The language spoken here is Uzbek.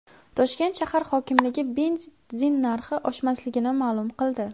Toshkent shahar hokimligi benzin narxi oshmasligini ma’lum qildi.